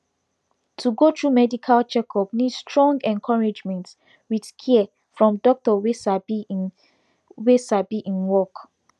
to go through medical checkup need strong encouragement with care from doctor wey sabi im wey sabi im work